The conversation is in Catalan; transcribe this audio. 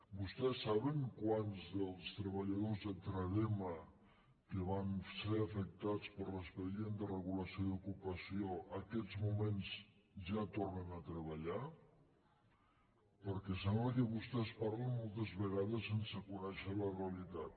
vostès saben quants dels treballadors de trade·ma que van ser afectats per l’expedient de regulació d’ocupació en aquests moments ja tornen a treballar perquè sembla que vostès parlin moltes vegades sen·se conèixer la realitat